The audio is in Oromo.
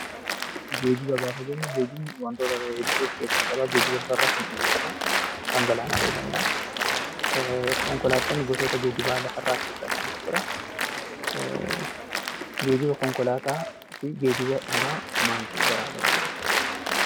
Geejjiba gaafa jennu geejjibni wantoota hedduu of keessaa qaba. Geejjiba lafarraa fi kan qilleensarraa, kan galaanaa ta'uu danda'a. Konkolaattonni gosoota geejjibaa lafarraa keessaa isaan tokko dha. Geejjiba konkolaataa fi geejjiba biraa maaltu garaagara godha?